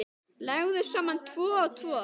Leggðu saman tvo og tvo.